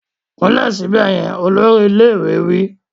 Kúnlẹ̀ síbẹ̀ yẹn! Olórí ilé ìwé wí.